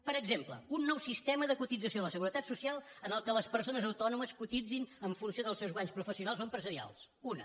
per exemple un nou sistema de cotització a la seguretat social en el qual les persones autònomes cotitzin en funció dels seus guanys professionals o empresarials una